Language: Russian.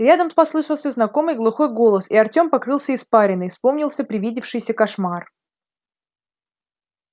рядом послышался знакомый глухой голос и артём покрылся испариной вспомнился привидевшийся кошмар